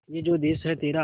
ये जो देस है तेरा